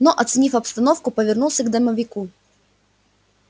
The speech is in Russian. но оценив обстановку повернулся к домовику